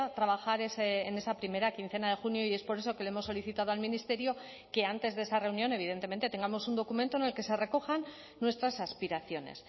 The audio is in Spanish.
trabajar en esa primera quincena de junio y es por eso que le hemos solicitado al ministerio que antes de esa reunión evidentemente tengamos un documento en el que se recojan nuestras aspiraciones